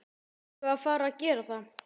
Erum við að fara að gera það?